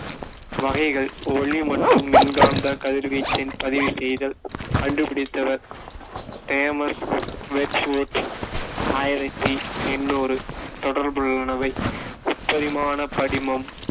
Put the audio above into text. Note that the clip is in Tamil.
வகைகள் ஒளி மற்றும் மின்காந்தக் கதிர்வீச்சின் பதிவுசெய்தல் கண்டுபிடித்தவர் தேமஸ் வெஜ்வூட் ஆயிரத்தி எண்ணூறு தொடர்புள்ளவைமுப்பரிமாண படிமம்,